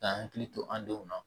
Ka hakili to an denw na